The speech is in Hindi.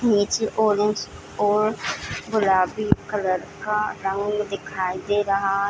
नीचे ऑरेंज और गुलाबी कलर का रंग दिखाई दे रहा।